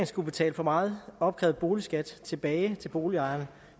skulle betale for meget opkrævet boligskat tilbage til boligejerne